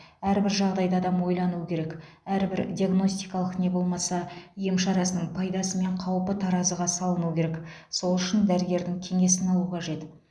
әрбір жағдайда адам ойлануы керек әрбір диагностикалық не болмаса ем шарасының пайдасы мен қаупі таразыға салынуы керек сол үшін дәрігердің кеңесін алу қажет